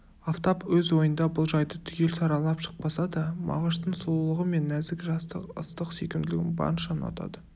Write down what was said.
афтап өз ойында бұл жайды түгел саралап шықпаса да мағыштың сұлулығы мен нәзік жастық ыстық сүйкімділігін барынша ұнатады